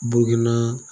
Burukina